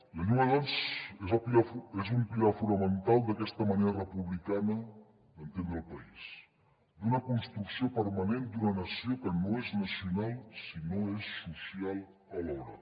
la llengua doncs és un pilar fonamental d’aquesta manera republicana d’entendre el país d’una construcció permanent d’una nació que no és nacional si no és social alhora